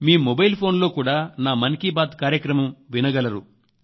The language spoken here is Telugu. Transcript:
మీ మొబైల్ ఫోన్ లో కూడా నా మన్ కీ బాత్ కార్యక్రమం వినగలరు